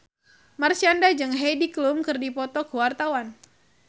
Marshanda jeung Heidi Klum keur dipoto ku wartawan